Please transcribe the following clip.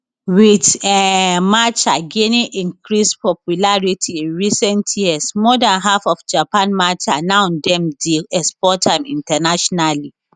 wit um matcha gaining increased popularity in recent years more dan half of japan matcha now dem dey export am internationally